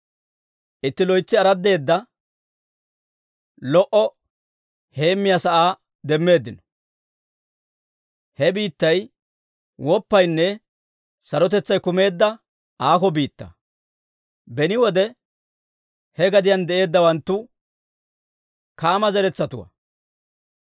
Itti loytsi araddeeda lo"o heemmiyaa sa'aa demmeeddino; he biittay woppaynne sarotetsay kumeedda aako biittaa. Beni wode he gadiyaan de'eeddawantu Kaama zeretsatuwaa.